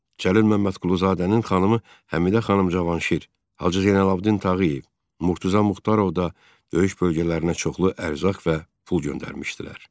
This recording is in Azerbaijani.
Cəlil Məmmədquluzadənin xanımı Həmidə xanım Cavanşir, Hacı Zeynalabdin Tağıyev, Murtuza Muxtarov da döyüş bölgələrinə çoxlu ərzaq və pul göndərmişdilər.